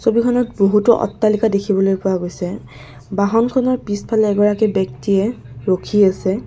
ছবিখনত বহুতো অট্টালিকা দেখিবলৈ পোৱা গৈছে বাহনখনৰ পিছফালে এজন ব্যক্তিয়ে ৰখি আছে।